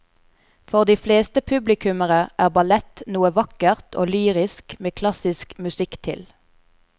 For de fleste publikummere er ballett noe vakkert og lyrisk med klassisk musikk til.